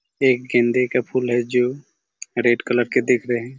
एक गेंदे के फूल है जो रेड कलर के दिख रहे--